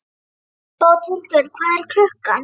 Bóthildur, hvað er klukkan?